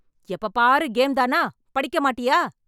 எப்போ பாரு கேம் தானா? படிக்க மாட்டியா?